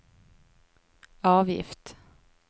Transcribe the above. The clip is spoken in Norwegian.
avgift